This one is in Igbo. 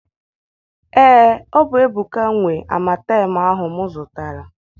Ee, ọ bụ Ebuka nwe amatem ahụ m zụtara.